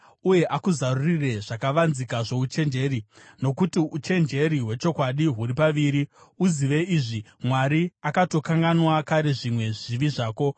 uye akuzarurire zvakavanzika zvouchenjeri, nokuti uchenjeri hwechokwadi huri paviri. Uzive izvi: Mwari akatokanganwa kare zvimwe zvivi zvako.